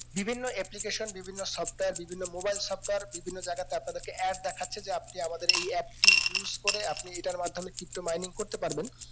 বিভিন্ন application বিভিন্ন software বিভিন্ন mobile software বিভিন্ন জায়গাতে আপনাদেরকে add দেখাচ্ছে যে আপনি আমাদের এই app টি use করে আপনি এটার মাধ্যমে pto mining করতে পারবেন